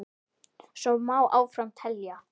Svo má áfram telja.